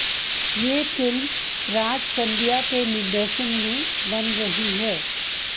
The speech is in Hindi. यह फिल्म राज शांडिय के निर्देशन में बन रही है